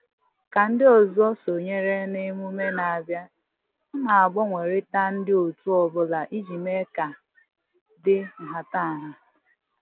Ka ndị ọzọ sonyere n'emume na-abịa, a na-agbanwerita ndị otu ọbụla iji mee ka dị nhatanha